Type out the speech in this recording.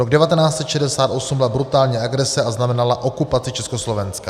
Rok 1968 byla brutální agrese a znamenala okupaci Československa."